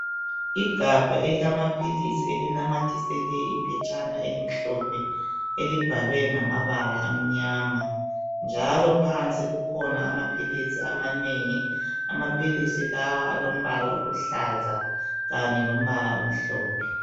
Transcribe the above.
Igabha elilamaphilisi elinamathisele iphetshana elimhlophe elibhalwe ngamabala amnyama njalo phansi kukhona amaphilisi amanengi amaphilisi lawa alombala oluhlaza kanye lombala lomhlophe.